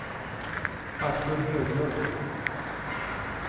Artur Höglund